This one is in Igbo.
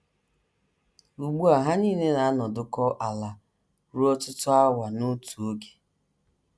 Ugbu a ha nile na - anọdụkọ ala ruo ọtụtụ awa n’otu oge. ”